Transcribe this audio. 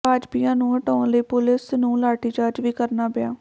ਭਾਜਪਾਈਆਂ ਨੂੰ ਹਟਾਉਣ ਲਈ ਪੁਲਿਸ ਨੂੰ ਲਾਠੀਚਾਰਜ ਵੀ ਕਰਨਾ ਪਿਆ